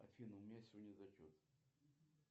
афина у меня сегодня зачет